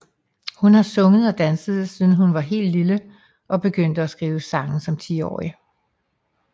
Hun har sunget og danset siden hun var helt lille og begyndte at skrive sange som 10 årig